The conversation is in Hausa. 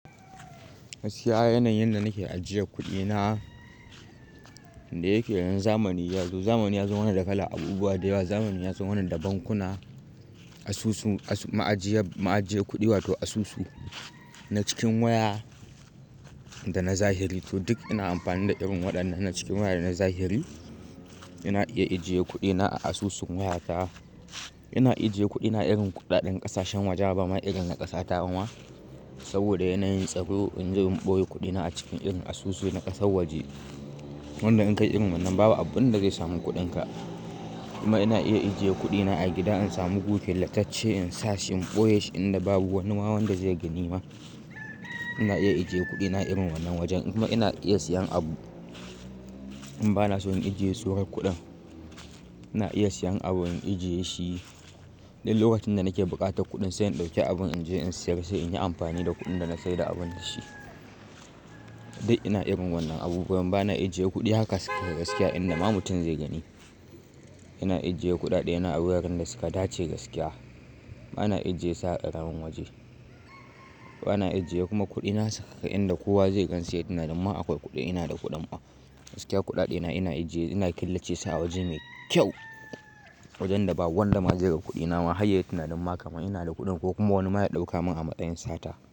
Gaskiya yanayin da nake ajiye kuɗina da yake yanzu zamani yazo. Zamani yazo mana da kalan abubuwa da yawa. Zamani yazo mana da bankuna, asusu ma'ajiya ma'ajiyar kuɗi wato asusu na cikin waya da na zahiri. To duk ina amfani da irin waɗannan na cikin waya da na zahiri. Ina iya ajiye kuɗina a asusun wayata. Ina ijiye kuɗina irin kuɗaɗen ƙasashen waje ba ma irin na ƙasa ta bama. Saboda yanayin tsaro in je in ɓoye kuɗina a cikin irin asusu na ƙasar waje. Wanda in kai irin wannan babu abunda zai samu kuɗinka. Kuma ina iya ajiye kuɗina a gida in samu gu killatacce in sa shi in ɓoye shi inda babu wani ma wanda zai gani ma. Ina iya ajiye kuɗina irin wannan wajen. Kuma ina iya siyan abu in bana so in ajiye sorar kuɗin. Ina iya siyan abu in ajiye shi dan lokacin da nake buƙatar kuɗin sai in ɗauke abun in je in sayar sai in yi amfani da kuɗin da na saida abun da shi. Dai ina irin wannan abubuwan bana ijiye kuɗi haka sake gaskiya inda ma mutum zai gani. Ina ajiye kuɗaɗe na a wuraren da suka dace gaskiya. Bana ijiye su a karamin waje. Bana ijiye kuma kuɗina sakaka inda kowa zai gansu yayi tinanin ma akwai kuɗi ina da kuɗin. Gaskiya kuɗaɗe na ina ijiye ina killace su a waje me kyau. Wajen da ba wanda ma zai ga kuɗina ma har yayi tinanin ma kaman ina da kuɗin ko kuma wani ma ya dauka min a masayin sata.